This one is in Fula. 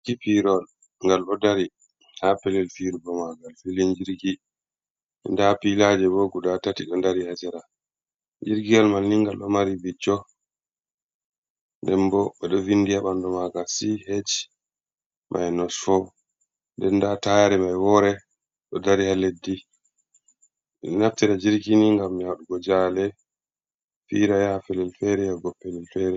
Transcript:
Ji pirowal ngal ɗo dari, ha Pellel firugo magal filin jirgi.da Pilaje bo guda tati ɗo dari ha Sera. Jirgiwal maini ngal ɗo mari bicco nden bo ɗo vindi ha ɓandu magal CH mainos fo, nden nda tayare mai wore ɗo dari ha leddi. Men naftira jirkini ngam waɗugo jahale fira ya ha Pellel fere ya go Pellel Fere.